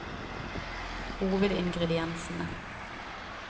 hovedingrediensene